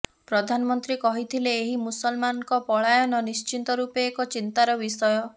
ପ୍ରଧାନମନ୍ତ୍ରୀ କହିଥିଲେ ଏହି ମୁସଲମାନଙ୍କ ପଳାୟନ ନିଶ୍ଚିତରୂପେ ଏକ ଚିନ୍ତାର ବିଷୟ